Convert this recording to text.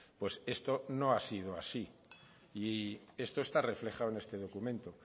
pues esto no ha sido así y esto está reflejado en este documento